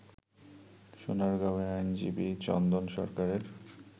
সোনারগাঁওয়ে আইনজীবী চন্দন সরকারের